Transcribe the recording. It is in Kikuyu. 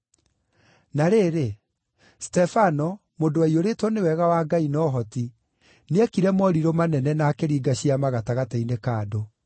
Na rĩrĩ, Stefano, mũndũ waiyũrĩtwo nĩ wega wa Ngai na ũhoti, nĩekire morirũ manene na akĩringa ciama gatagatĩ-inĩ ka andũ.